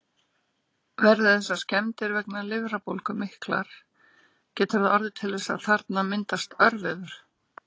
Verði þessar skemmdir vegna lifrarbólgu miklar, getur það orðið til þess að þarna myndast örvefur.